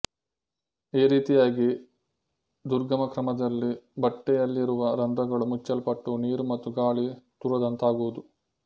ಈ ರೀತಿಯಾಗಿ ದುರ್ಗಮಕ್ರಮದಲ್ಲಿ ಬಟ್ಟೆಯಲ್ಲಿರುವ ರಂಧ್ರಗಳು ಮುಚ್ಚಲ್ಪಟ್ಟು ನೀರು ಮತ್ತು ಗಾಳಿ ತೂರದಂತಾಗುವುದು